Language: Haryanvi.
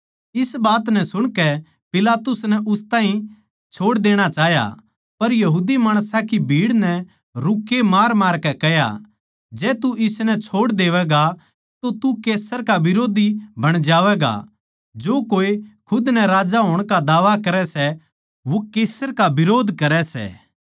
इस बात नै सुणकै पिलातुस नै उस ताहीं छोड़ देणा चाह्या पर भीड़ नै रूक्के मारमारकै कह्या जै तू इसनै छोड़ देवैगा तो तू कैसर का बिरोध्दी बण जावैगा जो कोए खुद नै राजा होण का दावा करै सै वो कैसर का बिरोध्द करै सै